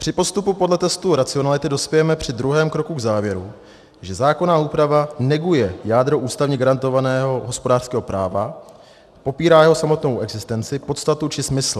Při postupu podle testu racionality dospějeme při druhém kroku k závěru, že zákonná úprava neguje jádro ústavně garantovaného hospodářského práva, popírá jeho samotnou existenci, podstatu či smysl.